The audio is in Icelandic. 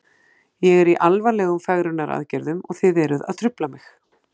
Ég er í alvarlegum fegrunaraðgerðum og þið eruð að trufla mig.